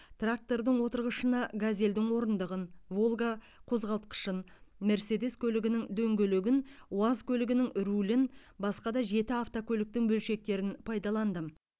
трактордың отырғышына газелдің орындығын волга қозғалтқышын мерседес көлігінің дөңгелегін уаз көлігінің рулін басқа да жеті автокөліктің бөлшектерін пайдаландым